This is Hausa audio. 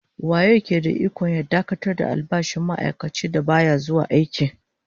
Waye ya ke da ikon dakatar da albashin ma'aikacin da baya zuwa aiki?